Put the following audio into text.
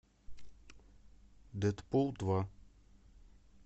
дэдпул два